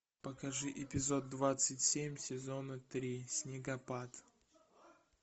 покажи эпизод двадцать семь сезона три снегопад